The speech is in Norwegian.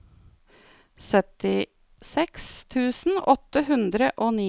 syttiseks tusen åtte hundre og ni